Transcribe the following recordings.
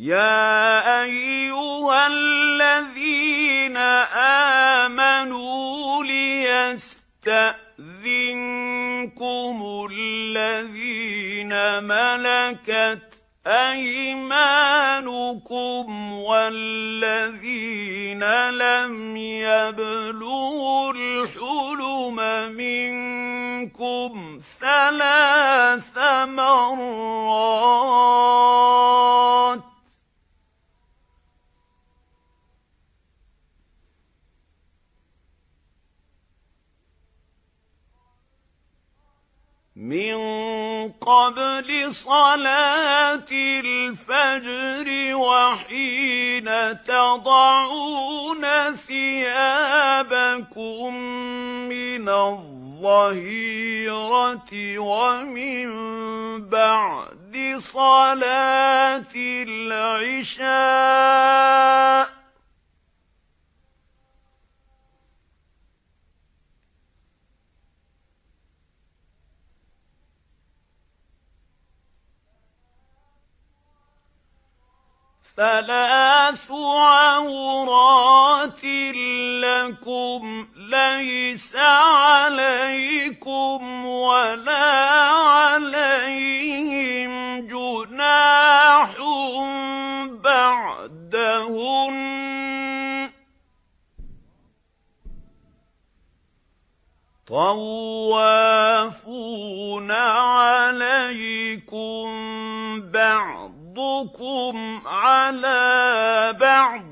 يَا أَيُّهَا الَّذِينَ آمَنُوا لِيَسْتَأْذِنكُمُ الَّذِينَ مَلَكَتْ أَيْمَانُكُمْ وَالَّذِينَ لَمْ يَبْلُغُوا الْحُلُمَ مِنكُمْ ثَلَاثَ مَرَّاتٍ ۚ مِّن قَبْلِ صَلَاةِ الْفَجْرِ وَحِينَ تَضَعُونَ ثِيَابَكُم مِّنَ الظَّهِيرَةِ وَمِن بَعْدِ صَلَاةِ الْعِشَاءِ ۚ ثَلَاثُ عَوْرَاتٍ لَّكُمْ ۚ لَيْسَ عَلَيْكُمْ وَلَا عَلَيْهِمْ جُنَاحٌ بَعْدَهُنَّ ۚ طَوَّافُونَ عَلَيْكُم بَعْضُكُمْ عَلَىٰ بَعْضٍ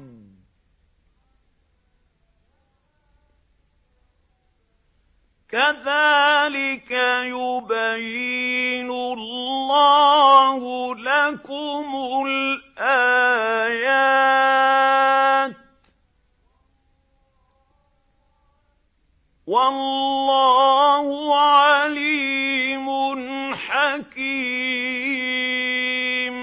ۚ كَذَٰلِكَ يُبَيِّنُ اللَّهُ لَكُمُ الْآيَاتِ ۗ وَاللَّهُ عَلِيمٌ حَكِيمٌ